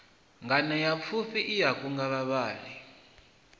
nganeapfufhi i a kunga vhavhali